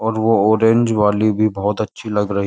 और वो ऑरेंज वाली भी बहुत अच्छी।